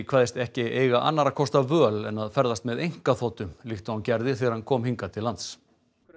kveðst ekki eiga annarra kosta völ en að ferðast með einkaþotu líkt og hann gerði þegar hann kom hingað til lands